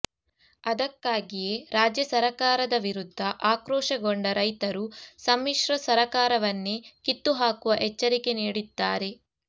ಅದಕ್ಕಾಗಿಯೇ ರಾಜ್ಯ ಸರಕಾರದ ವಿರುದ್ಧ ಆಕ್ರೋಶಗೊಂಡ ರೈತರು ಸಮ್ಮಿಶ್ರ ಸರಕಾರವನ್ನೇ ಕಿತ್ತು ಹಾಕುವ ಎಚ್ಚರಿಕೆ ನೀಡಿದ್ದಾರೆ